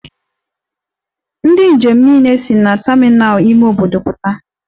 Ndi njem niile si na terminal ime obodo puta.